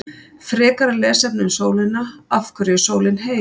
Frekara lesefni um sólina: Af hverju er sólin heit?